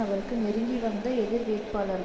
அவருக்கு நெருங்கி வந்த எதிர் வேட்பாளர்